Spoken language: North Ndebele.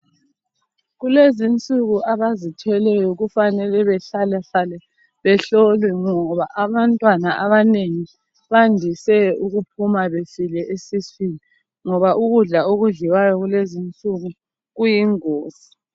Kulezi insuku abazithweleyo kufanele behlalahlale behlolwe ngoba abantwana abanengi bayadise ukuphuma befile esuswini ngoba ukudla okudliwayo kulezi insuku kuyingozi.